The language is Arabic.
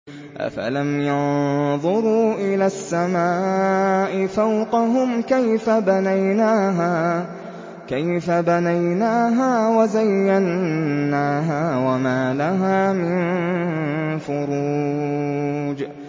أَفَلَمْ يَنظُرُوا إِلَى السَّمَاءِ فَوْقَهُمْ كَيْفَ بَنَيْنَاهَا وَزَيَّنَّاهَا وَمَا لَهَا مِن فُرُوجٍ